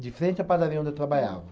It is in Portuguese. De frente a padaria onde eu trabalhava.